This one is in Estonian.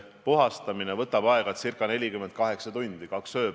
Kommunikatsiooni töörühma või töögrupi juht on Riigikantselei kommunikatsioonijuht Urmas Seaver.